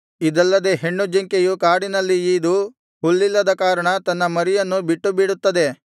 ಇದಲ್ಲದೆ ಹೆಣ್ಣು ಜಿಂಕೆಯು ಕಾಡಿನಲ್ಲಿ ಈದು ಹುಲ್ಲಿಲ್ಲದ ಕಾರಣ ತನ್ನ ಮರಿಯನ್ನು ಬಿಟ್ಟುಬಿಡುತ್ತದೆ